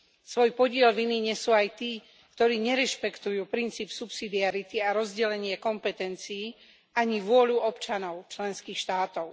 Svoj podiel viny nesú aj tí, ktorí nerešpektujú princíp subsidiarity a rozdelenie kompetencií, ani vôľu občanov členských štátov.